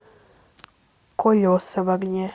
колеса в огне